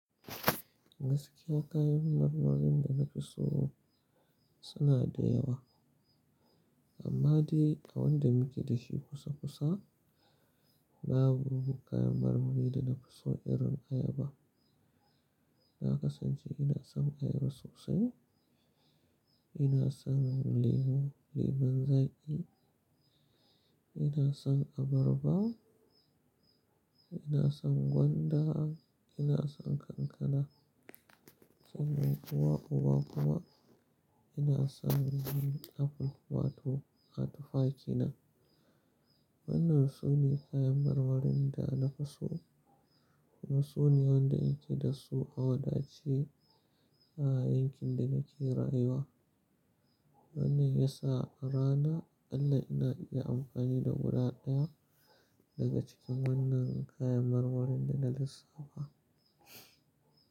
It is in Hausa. Gaskiya kayan marmarin da na fi so suna da yawa, amma dai wanda muke da shi kusa kusa babu kayan marmari da na fi so irin ayaba. Na kasance ina son ayaba sosai, ina son lemu, lemon zaƙi, ina son abarba, ina son gwanda, ina son kankana, saboda uwa uba kuma ina son apple wato tuffa kenan. Wannan su ne kayan marmarin da na fi so. Kuma su ne wanda in ke da su a wadace a yankin da nake rayuwa. Wannan ya sa a rana aƙalla ina iya amfani da guda ɗaya daga cikin wannan kayan marmarin da na lissafa.